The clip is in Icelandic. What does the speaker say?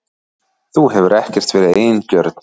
Þú hefur ekkert verið eigingjörn.